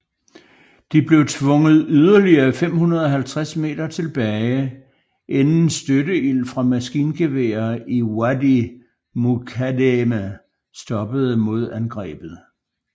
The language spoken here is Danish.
De blev tvunget yderligere 550 meter tilbage inden støtteild fra maskingeværer i Wadi Mukaddeme stoppede modangrebet